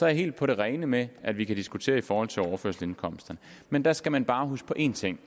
jeg helt på det rene med at vi kan diskutere det i forhold til overførselsindkomsterne men der skal man bare huske på en ting